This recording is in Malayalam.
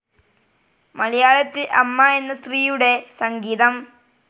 മലയാളത്തിൽ അമ്മ എന്ന സ്ത്രീയുടെ സംഗീതം.